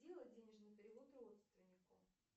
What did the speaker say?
сделать денежный перевод родственнику